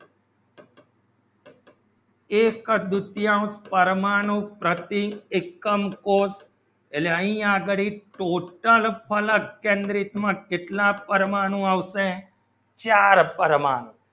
એક દુટયુંશ પરમાણુ પ્રતીક એકમ કોષ આયી અગણીત total ફલક કેન્દ્રિત માં કેટલા પરમાણુ આવશે ચાર પરમાણુ